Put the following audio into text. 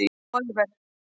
Oliver